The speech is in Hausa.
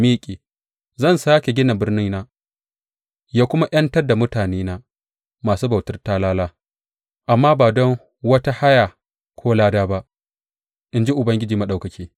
Zai sāke gina birnina ya kuma ’yantar da mutanena masu bautar talala, amma ba don wata haya ko lada ba, in ji Ubangiji Maɗaukaki.